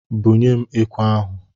Bunyem ekwe ahụ!